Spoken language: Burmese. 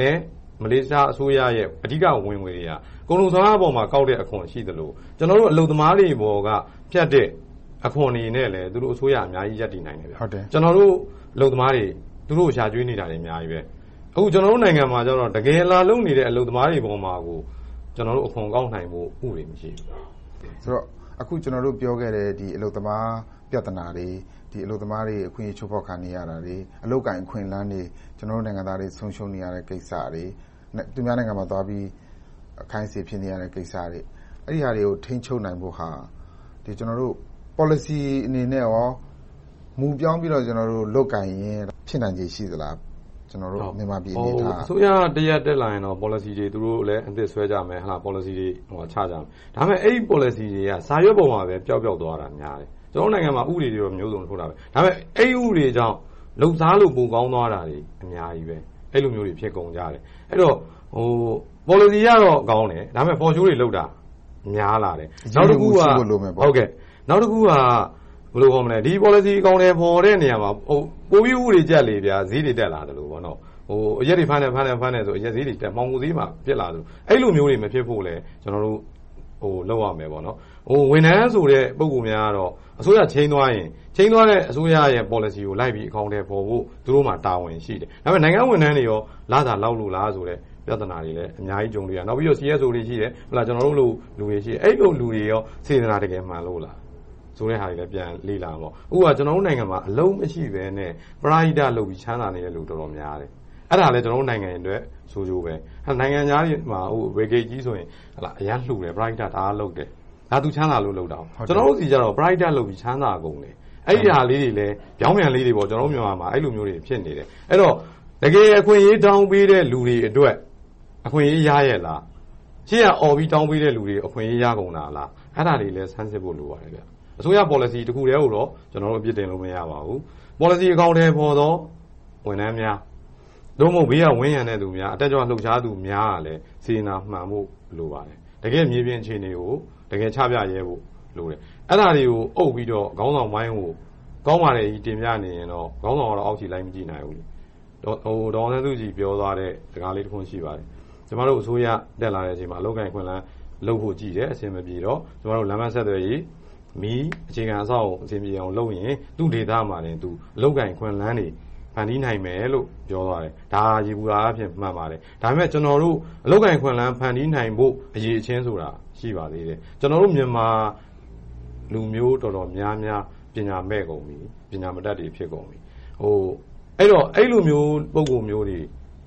နဲ့ မလေးရှားအစိုးရတို့ရဲ့ အဓိကဝင်ငွေတွေဟာ ကုန်စွမ်းအားပေါ်မှာ ကောက်တဲ့အခွန် ရှိသလို၊ ကျနော်တို့ အလုပ်သမားတွေပေါ်က ဖြတ်တဲ့အခွန်တွေနဲ့လည်း သူတို့အစိုးရက အများကြီးရပ်တည်နိုင်တယ်။ ကျနော်တို့ အလုပ်သမားတွေ သူတို့ကို ရှာကျွေးနေတာတွေ အများကြီးပါ။ အခု ကျနော်တို့နိုင်ငံမှာကြတော့ တကယ်လာလုပ်နေတဲ့ အလုပ်သမားတွေပေါ်မှာ အခွန်ကောက်နိုင်ဖို့ ဥပဒေ မရှိသေးဘူး။ ဆိုတော့ အခု ကျနော်တို့ပြောခဲ့တဲ့ အလုပ်သမား ပြဿနာတွေ၊ အလုပ်သမား အခွင့်အရေးတွေ ချိုးဖောက်ခံနေရတာတွေ၊ အလုပ်အကိုင် အခွင့်အလမ်းတွေ၊ ကျနော်တို့နိုင်ငံသားတွေ ဆုံးရှုံးခံနေရတဲ့ ကိစ္စတွေ။ သူများနိုင်ငံသွား အခိုင်းအစေ ခံနေရတဲ့ကိစ္စတွေ။ အဲဒါတွေကို ထိန်းချုပ်နိုင်ဖိုသလား။ မြန်မာပြည်အနေအထားက ပေါ်လစီအနေနဲ့ကော မူပြောင်းပြီးတော့ လုပ်ကိုင်ရင် ဖြစ်နိုင်ခြေ ရှိနိုင်သလား။ အစိုးရတရပ် တက်လာရင်တော့ ပေါ်လစီတွေလည်း သူတို့ အသစ်ဆွဲကြမယ်။ ပေါ်လစီတွေ ချကြမယ်။ ဒါပေမဲ့ အဲဒီပေါ်လစီတွေက စာရွက်ပေါ်မှာပဲ ပျောက်ပျောက်သွားတာများတယ်။ ကျနော်တို့နိုင်ငံမှာ ဥပဒေတွေမျိုးစုံ ထုတ်တယ်။ ဒါပေမဲ့ အဲဒီဥပဒေကြောင့် လုပ်စားလို့ ပိုကောင်းသွားတာတွေ အများကြီးပါ။ အဲဒီလိုမျိုးတွေ ဖြစ်ကုန်ကြတယ်။ အဲဒီတော့ ပေါ်လစီအရတော့ ကောင်းတယ်။ ဒါပေမဲ့ For show တွေ လုပ်တာတွေ များလာတယ်။ နောက်တခုက ဒီပေါ်လစီ အကောင်အထည်ဖော်တဲ့ နေရာမှာ ပိုပြီး ဥပဒေကြပ်လေ ဈေးတွေတက်လာသလိုပေါ့။ အရက်တွေ ဖမ်းတယ်ဆိုရင် အရက်ဈေးတွေတက်။ မှောင်ခိုဈေးမှာ ဖြစ်လာသလို။ အဲဒီလိုမျိုးတွေ မဖြစ်အောင်လဲ လုပ်ရမယ်။ ဝန်ထမ်းဆိုတဲ့ ပုဂ္ဂိုလ်များကတော့ အစိုးရပြောင်းသွားရင် ပြောင်းသွားတဲ့ ပေါ်လစီကို အကောင်အထည်ဖော်ဖို့ လိုက်ဖို့ သူတို့မှာ တာဝန်ရှိတယ်။ ဒါပေမဲ့ နိုင်ငံဝန်ထမ်းတွေကော လစာလောက်လို့လားဆိုတဲ့ ပြဿနာတွေလည်း အများကြီး ကြုံတွေ့နေရတယ်။ နောက်ပြီးတော့ CSO တွေ ရှိတယ်။ ကျနော်တို့လို လူတွေရှိတယ်။ အဲဒီလူတွေကော စေတနာ တကယ်မှန်လို့လားဆိုတဲ့ဟာတွေလဲ ပြန်လေ့လာပေါ့။ အခုက ကျနော်တို့နိုင်ငံမှာ အလုပ်မရှိဘဲနဲ့ ပရဟိတလုပ်ပြီး ချမ်းသာနေကြတဲ့ လူတွေတော်တော်များတယ်။ အဲဒါလဲ ကျနော်တို့နိုင်ငံရဲ့ ဆိုးကျိုးဖြစ်တယ်။ နိုင်ငံခြားမှာဆို Bill Gates ကြီးဆိုရင် အရမ်းလှူတဲ့၊ ပရဟိတ အရမ်းလုပ်တယ်။ ဒါက သူချမ်းသာလို့ လုပ်တာ။ ကျနော်တို့ဆီမှာတော့ ပရဟိတလုပ်ပြီး ချမ်းသာကုန်တယ်။ အဲဒါလေးတွေလဲ ပြောင်းပြန်လေးတွေ ဖြစ်နေတယ်။ အဲဒီတော့ တကယ်အခွင့်အရေး တောင်းပေးတဲ့ လူတွေအတွက် အခွင့်အရေး ရရဲ့လား။ ရှေ့ကအော်ပြီး တောင်းပေးတဲ့လူတွေ အခွင့်အရေး ရကုန်တာလား။ အဲဒါတွေလည်း စမ်းစစ်ဖို့ လိုပါတယ်။ အစိုးရပေါ်လစီ တခုတည်းကိုတော့ ကျနော်တို့ အပြစ်တင်လို့ မရပါဘူး။ ပေါ်လစီဖော်သော ဝန်ထမ်းများ သို့မဟုတ် ဘေးကဝန်းရုံသောလူများ၊ တက်ကြွလှုပ်ရှားသူများကလည်း စေတနာမှန်ဖို့ လိုပါတယ်။ တကယ်မြေပြင်အခြေအနေကို တကယ်ချပြရဲဖို့ လိုတယ်။ အဲဒါတွေကို အုပ်ပြီးတော့ ခေါင်းဆောင်ပိုင်းကို ကောင်းပါတယ်လို့ တင်ပြနေရင်တော့ ခေါင်းဆောင်ကတော့ အောက်ခြေလိုက်မကြည့်နိုင်ဘူး။ ဒေါ်အောင်ဆန်းစုကြည် ပြောသွားတဲ့ စကားလေးတခွန် ရှိပါတယ်။ ကျမတို့အစိုးရ တက်လာတဲ့အချိန်မှာ အလုပ်အကိုင် အခွင့်အလမ်း လုပ်ဖို့ကြည်တဲ့ အဆင်မပြေတော့ ကျမတို့ လမ်းပန်းဆက်သွယ်ရေး၊ မီး အခြေခံအဆောက်အအုံတွေ လုပ်ရင် သူ့ဒေသအလိုက် အလုပ်အကိုင် အခွင့်အလမ်းတွေ ဖန်တီးနိုင်မယ်လို့ ပြောသွားတယ်။ ဒါက ယေဘုယျအားဖြင့် မှန်ပါတယ်။ ဒါပေမဲ့ ကျနော်တို့ အလုပ်အကိုင် အခွင့်အလမ်း ဖန်တီးနိုင်ဖို့ အရည်အချင်းဆိုတာ ရှိပါသေးတယ်။ ကျနော်တို့ မြန်မာလူမျိုး တော်တော်များများက ပညာမဲ့ကုန်ပြီ။ ပညာမတတ်တွေ ဖြစ်ကုန်ပြီ။ အဲဒီလိုမျိုး ပုဂ္ဂိုလ်မျိုးတွေ